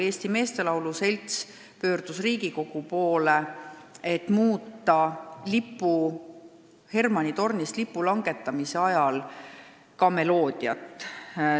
Eesti Meestelaulu Selts pöördus Riigikogu poole, et muuta Pika Hermanni tornis lipu langetamise ajal kõlavat meloodiat.